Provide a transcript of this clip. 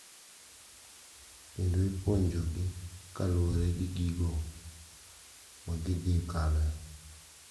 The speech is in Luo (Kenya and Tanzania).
Kendo ipuonjogi kaluwore gi gigo magidhi kaloe.